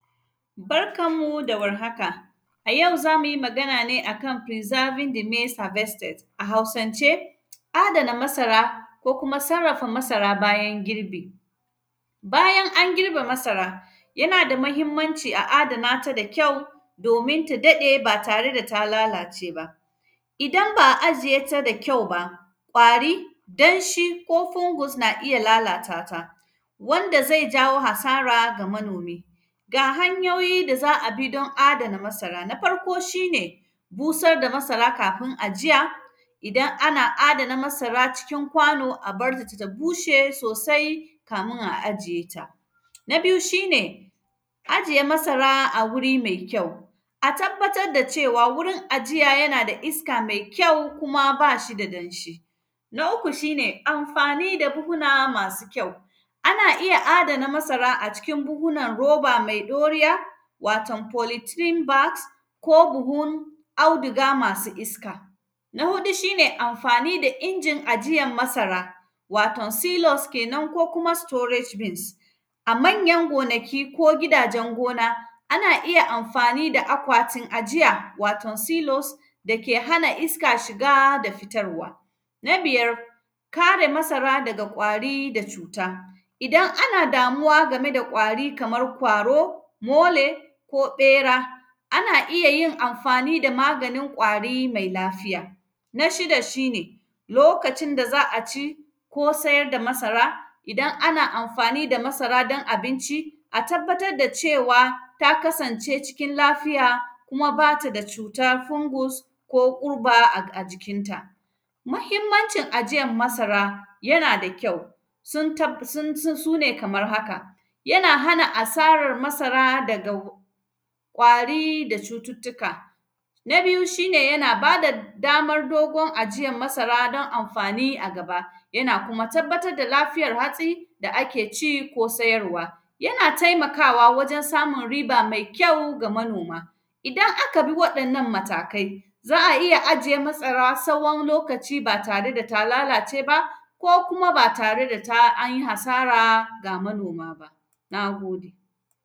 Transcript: Barkan mu da warhaka, a yau za mu yi magan ne a kan “preserving the maize harvested”, a Hausance, adana masara ko kuma sarrafa masa bayan girbi. Bayan an girbe masara, yana da mahimmanci a adana ta da kyau, domin ta daɗe ba tare da ta lalace ba. Idan ba a ajiye ta da kyau ba, ƙwari, danshi ko fungus na iya lalata ta, wanda zai jawo hasara ga manomi. Ga hanyoyi da za a bi, don adana masara, na farko, shi ne busar da masara kafin ajiya, idan ana adana masara cikin kwano, a bar ta ta bushe sosai, kamin a ajiye ta. Na biyu, shi ne ajiye masara a wuri me kyau, a tabbatad da cewa wurin ajiya yana da iska mai kyau kuma ba shi da danshi. Na uku, shi ne amfani da buhuna masu kyau, ana iya adana masara a cikin buhunan roba mai ɗoriya, waton “polythene bags” ko buhun audiga masu iska. Na huɗu, shi ne amfani da injin ajiyan masara, waton “ceilos” kenan ko kuma “storage beans”. A manyan gonaki ko gidajen gona, ana iya amfani da akwatin ajiya, waton “ceilos” da ke hana iska shiga da fitarwa. Na biyar, kare masara daga ƙwari da cuta, idan ana damuwa game da ƙwari kamar kwaro, mole ko ƃera, ana iya yin amfani da maganin ƙwari mai lafiya. Na shida, shi ne lokacin da za a ci ko sayar da masara. Ida nana amfani da masara don abinci, a tabbatad da cewa, ta kasance cikin lafiya kuma ba ta da cutar fungus ko ƙurba ag; a jikinta. Mahimmancin ajiyan masara, yana da kyau, sun tab; sun, sun, su ne kamar haka. Yana hana asarar masara daga go; ƙwari da cututtuka, na biyu, shi ne yana ba da damar dogon ajiyan masara, don amfani a gaba. Yana kuma tabbatad da lafiyar hatsi da ake ci ko sayarwa. Yana taimakawa wajen samun riba mai kyau ga manoma. Idan aka bi waɗannan matakai, za a iya ajiye matsara sawon lokaci, ba tare da ta lalace ba, ko kuma ba tare da ta, an yi hasara ga manoma ba, na gode.